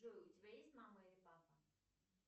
джой у тебя есть мама или папа